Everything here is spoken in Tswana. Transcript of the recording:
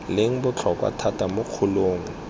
leng botlhokwa thata mo kgolong